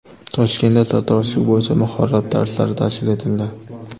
Toshkentda sartaroshlik bo‘yicha mahorat darslari tashkil etildi .